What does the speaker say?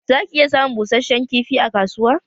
Za ki iya samun busheshen kifi a kasuwa